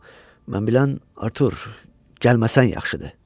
amma mən bilən Artur, gəlməsən yaxşıdır.